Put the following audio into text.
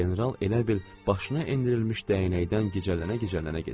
General elə bil başına endirilmiş dəyənəkdən gicələnə-gicələnə gedirdi.